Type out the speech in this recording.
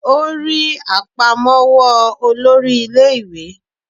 O rí àpamọ́wọ́ olórí ilé ìwé